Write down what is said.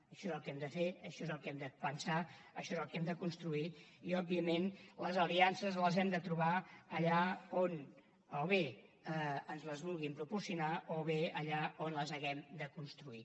això és el que hem de fer això és el que hem de pensar això és el que hem de construir i òbviament les aliances les hem de trobar allà on o bé ens les vulguin proporcionar o bé allà on les hàgim de construir